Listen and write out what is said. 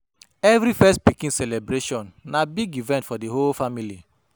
Every first pikin celebration na big event for di whole family.